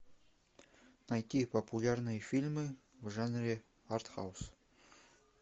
найти популярные фильмы в жанре арт хаус